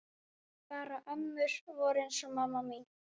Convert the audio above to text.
Bara ömmur voru eins og mamma mín.